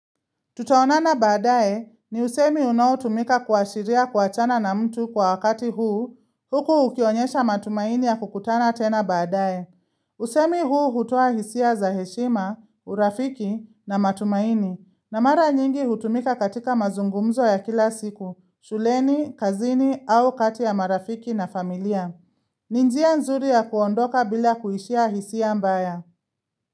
Tutaonana baadae ni usemi unaotumika kuashiria kuachana na mtu kwa wakati huu, huku ukionyesha matumaini ya kukutana tena baadae. Usemi huu hutoa hisia za heshima, urafiki na matumaini, na mara nyingi hutumika katika mazungumzo ya kila siku, shuleni, kazini au kati ya marafiki na familia. Ni njia nzuri ya kuondoka bila kuishia hisia mbaya.